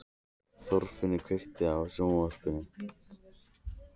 Þorfinnur, kveiktu á sjónvarpinu.